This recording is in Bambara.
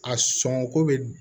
A sɔnko bɛ